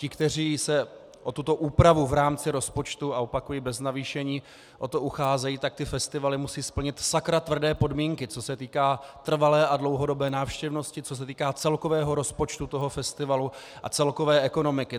Ti, kteří se o tuto úpravu v rámci rozpočtu, a opakuji bez navýšení, o to ucházejí, tak ty festivaly musí splnit sakra tvrdé podmínky, co se týká trvalé a dlouhodobé návštěvnosti, co se týká celkového rozpočtu toho festivalu a celkové ekonomiky.